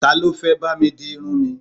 Talọ́ fẹ́ bá mi di irun mi?